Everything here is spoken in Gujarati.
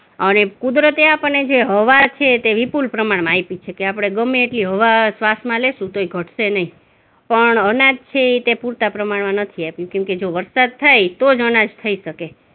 અને કુદરતે આપણને જે હવા છે તે વિપુલ પ્રમાણમાં આપી છે કે આપણે ગમે એટલી હવા શ્વાસમાં લેશું તોય ઘટશે નહીં પણ અનાજ છે તે પૂરતા પ્રમાણમાં નથી આપું કેમકે જો વરસાદ થાય તો જ અનાજ થઇ શકે.